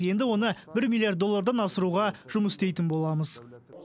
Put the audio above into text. енді оны бір миллиард доллардан асыруға жұмыс істейтін боламыз